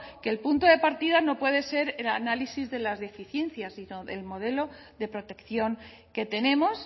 que el punto de partida no puede ser el análisis de las deficiencias sino del modelo de protección que tenemos